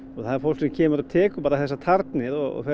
það er fólk sem kemur og tekur bara þessar tarnir og